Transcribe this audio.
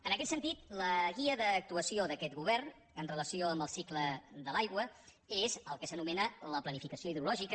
en aquest sentit la guia d’actuació d’aquest govern amb relació al cicle de l’aigua és el que s’anomena la planificació hidrològica